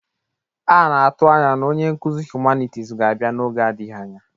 A na-atụ anya na onye nkuzi hụmanịtis ga-abịa n'oge adịghị anya.